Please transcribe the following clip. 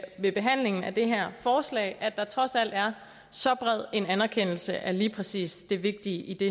ved behandlingen af det her forslag trods alt er så bred en anerkendelse af lige præcis det vigtige i det